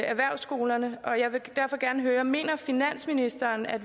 erhvervsskolerne og jeg vil derfor gerne spørge mener finansministeren at